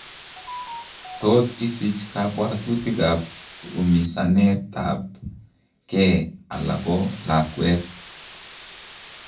Tot isich kabwatutik ab umisaneet ab kee ala ko lakweet